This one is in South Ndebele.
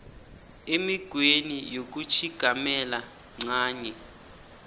emikghweni yokutjhigamela ncanye